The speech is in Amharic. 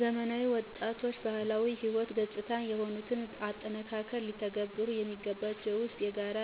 ዘመናዊ ወጣቶችባህላዊ ህይወት ገጽታ የሆኑትን አጠናክረው ሊተገብሩ የሚገባቸው ዉስጥ፣ የጋራ